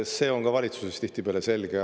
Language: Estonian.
See on ka valitsuses tihtipeale selge.